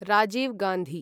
Rajiv Gandhi